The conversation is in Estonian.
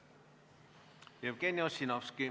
Jevgeni Ossinovski.